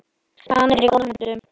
Hann er í góðum höndum.